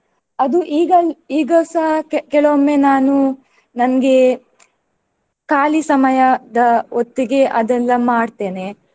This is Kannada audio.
ಅದು ಈಗ ಈಗಸ ಕೆ~ ಕೆಲವೊಮ್ಮೆ ನಾನು ನನ್ಗೆ ಖಾಲಿ ಸಮಯದ ಹೊತ್ತಿಗೆ ಅದೆಲ್ಲ ಮಾಡ್ತೇನೆ.